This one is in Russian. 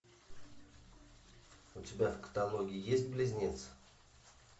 у тебя в каталоге есть близнец